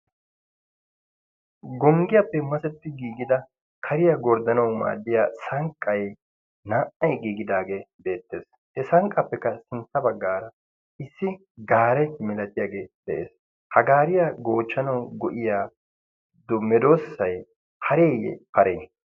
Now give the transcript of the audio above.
Gonggiyappe maseti giigida sankkay naa''ay giigidaage beettees. he sanqqappekka sintta baggara issi gaare milaatiyaage de'ees. ha gariyaa gochchanawd de'iyaa medoosay hareyye pare?